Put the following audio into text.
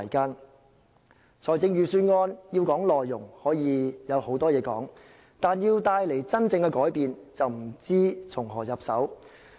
如果要說預算案的內容，可以說的事有很多，但如果要帶動真正改變，就不知道從何入手。